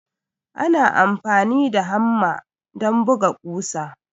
Ana amfani da hamma don buga ƙusa.